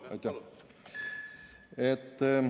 Kolm, jah?